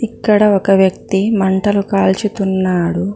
అక్కడ ఒక వ్యక్తి మంటలు కాల్చుతున్నాడు.